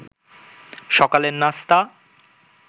সকালের নাস্তা